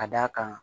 Ka d'a kan